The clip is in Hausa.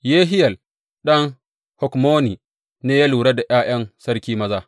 Yehiyel ɗan Hakmoni ne ya lura da ’ya’yan sarki maza.